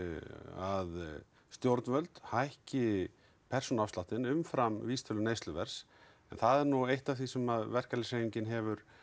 að stjórnvöld hækki persónuafsláttinn umfram vísitölu neysluverðs það er nú eitt af því sem verkalýðshreyfingin hefur